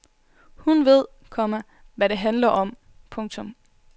Hun ved, komma hvad det handler om. punktum